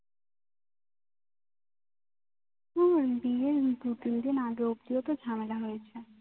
উম বিয়ের দু তিন দিন আগেও কি একটা ঝামেলা হয়েছে